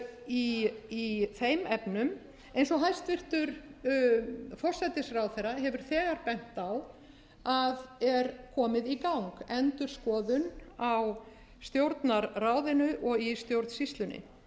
venjum í þeim efnum eins og hæstvirtur forsætisráðherra hefur þegar bent á að er komið í gang endurskoðun á stjórnarráðinu og í stjórnsýslunni skýrslan vekur upp